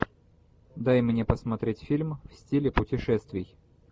дай мне посмотреть фильм в стиле путешествий